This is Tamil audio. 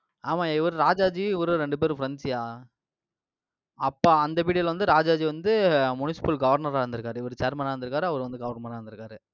ஆமாய்யா, இவரு ராஜாஜி இவரும் ரெண்டு பேரும் friends யா. அப்ப, அந்த period ல வந்து ராஜாஜி வந்து municipal governor ஆ இருந்திருக்காரு. இவரு chairman ஆ இருந்திருக்காரு. அவர் வந்து governor ஆ இருந்திருக்காரு.